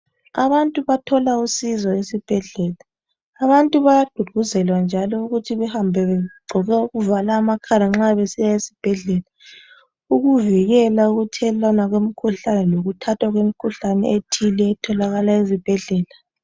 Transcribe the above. Abantu bathola usizo esibhedlela. Abantu bayagqugquzelwa njalo ukuthi behambe begqoke okuvala amakhala nxa besiya esibhedlela ukuvikela ukuthelelwana kwemikhuhlane lokuthatha kwemikhuhlane ethile etholakala ezibhedlela.